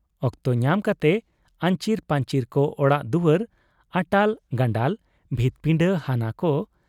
ᱚᱠᱛᱚ ᱧᱟᱢ ᱠᱟᱛᱮ ᱟᱹᱧᱪᱤᱨ ᱯᱟᱹᱧᱪᱤᱨ ᱠᱚ ᱚᱲᱟᱜ ᱫᱩᱣᱟᱹᱨ, ᱟᱴᱟᱞ ᱜᱟᱱᱰᱟᱞ ᱵᱷᱤᱛᱯᱤᱸᱰᱟᱹ ᱦᱟᱱᱟ ᱠᱚ ᱾